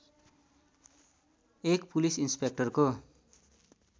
एक पुलिस इन्सपेक्टरको